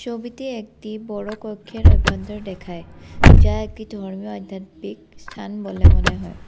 ছবিতে একটি বড়ো কক্ষের অভ্যন্তর দেখায় যা একটি ধর্মীয় আধ্যাত্মিক স্থান বলে মনে হয়।